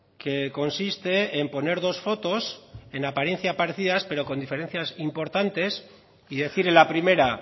que consiste en poner dos fotos en apariencia parecidas pero con diferencias importantes y decir en la primera